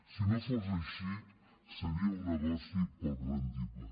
si no fos així seria un negoci poc rendible